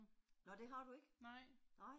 Nå det har du ikke? Nej